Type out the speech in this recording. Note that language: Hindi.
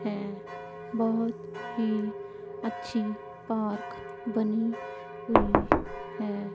है बहुत ही अच्छी पार्क बनी हुई है।